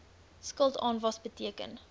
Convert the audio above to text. skuld aanwas beteken